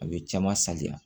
A bɛ caman saliya